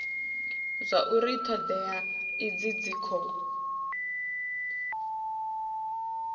zwauri thodea idzi dzi khou